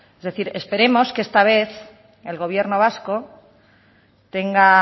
es decir esperemos que esta vez el gobierno vasco tenga